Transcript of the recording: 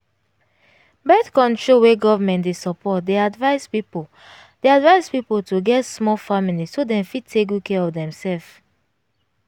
birth-control wey government dey support dey advice pipo dey advice pipo to get small family so dem fit take good care of dem self